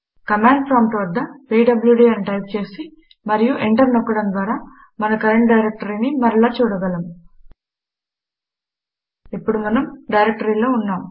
command prompt వద్ద PWD అని type చేసి మరియు ఎంటర్ నొక్కడం ద్వారా మన కరెంట్ డైరెక్టరీని మరల చూడ గలము ఇప్పుడు మనం డైరెక్టరీలో ఉన్నాము